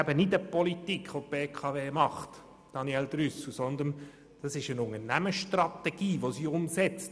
Daniel Trüssel, die BKW betreibt eben keine Politik, sondern setzt eine Unternehmensstrategie um.